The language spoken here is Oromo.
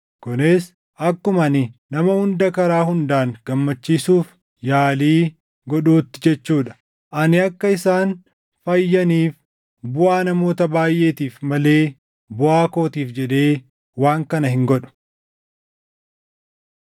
kunis akkuma ani nama hunda karaa hundaan gammachiisuuf yaalii godhutti jechuu dha. Ani akka isaan fayyaniif buʼaa namoota baayʼeetiif malee buʼaa kootiif jedhee waan kana hin godhu.